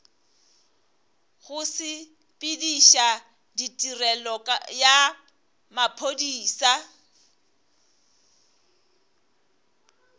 go sepediša tirelo ya maphodisa